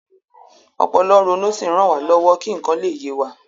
Ọpọlọ ń ronú ó sì ń ràn wá lọ́wọ́ kí nǹkan lè yé wa